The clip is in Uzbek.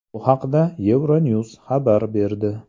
Bu haqda EuroNews xabar berdi .